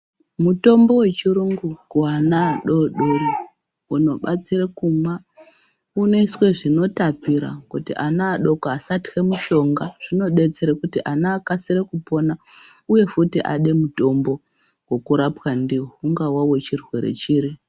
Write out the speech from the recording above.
Mutombo wechirungu kuwana adodori unobatsire kumwa unoiswe zvinotapira kuti ana adoko asahla mushonga zvinodetsere kuti ana akasire kupona uye futi ade mutombo wekurapwa ndiwo ungawa wechirwe chiri.